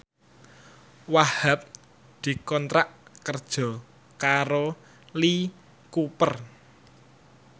Wahhab dikontrak kerja karo Lee Cooper